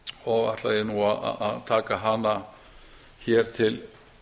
og ætla ég nú að taka hana hér til